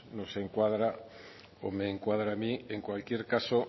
nos encuadra o me encuadra a mí en cualquier caso